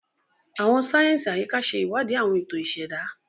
Àwọn sáyẹnsì Ayika ṣe iwadi awọn eto iseda.